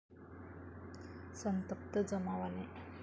संतप्त जमावाने.